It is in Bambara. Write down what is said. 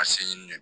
A se ɲini de